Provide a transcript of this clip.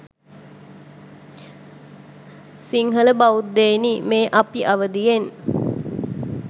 සිංහල බෞද්ධයනි මේ අපි අවදියෙන්